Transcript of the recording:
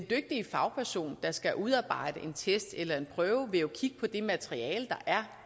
fagperson der skal udarbejde en test eller en prøve vil jo kigge på det materiale der er